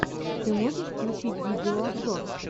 ты можешь включить видеообзор